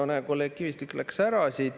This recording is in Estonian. No näe, kolleeg Kivistik läks ära.